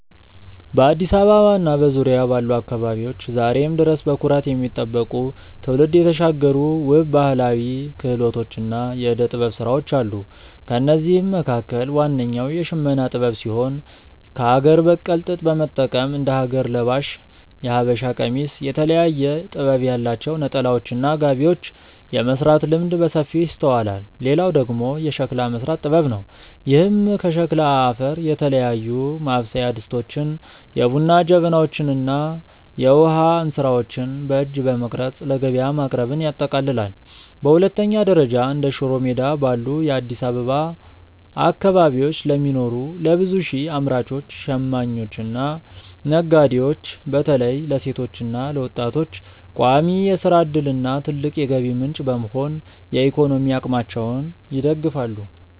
በአዲስ አበባ እና በዙሪያዋ ባሉ አካባቢዎች ዛሬም ድረስ በኩራት የሚጠበቁ፣ ትውልድ የተሻገሩ ውብ ባህላዊ ክህሎቶችና የዕደ-ጥበብ ሥራዎች አሉ። ከእነዚህም መካከል ዋነኛው የሽመና ጥበብ ሲሆን፣ ከአገር በቀል ጥጥ በመጠቀም እንደ ሀገር ለባሽ (የሀበሻ ቀሚስ)፣ የተለያየ ጥበብ ያላቸው ነጠላዎችና ጋቢዎችን የመሥራት ልምድ በሰፊው ይስተዋላል። ሌላው ደግሞ የሸክላ መሥራት ጥበብ ነው፤ ይህም ከሸክላ አፈር የተለያዩ ማብሰያ ድስቶችን፣ የቡና ጀበናዎችን እና የውሃ እንስራዎችን በእጅ በመቅረጽ ለገበያ ማቅረብን ያጠቃልላል። በሁለተኛ ደረጃ፣ እንደ ሽሮ ሜዳ ባሉ የአዲስ አበባ አካባቢዎች ለሚኖሩ ለብዙ ሺህ አምራቾች፣ ሽማኞችና ነጋዴዎች (በተለይም ለሴቶችና ለወጣቶች) ቋሚ የሥራ ዕድልና ትልቅ የገቢ ምንጭ በመሆን የኢኮኖሚ አቅማቸውን ይደግፋሉ።